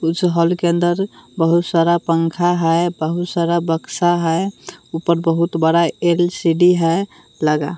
उस हॉल के अन्दर बहुत सारा पंखा है बहुत सारा बक्शा है उपर बहुत बड़ा एल_सी_डी है लगा--